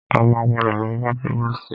A máa padà lọ bá prọ́vòstì.